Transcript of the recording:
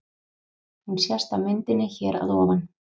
Hún sést á myndinni hér að ofan.